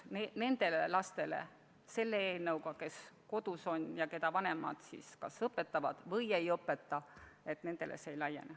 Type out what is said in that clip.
Nendele lastele, kes kodus on ja keda vanemad seal kas õpetavad või ei õpeta, see soodustus ei laiene.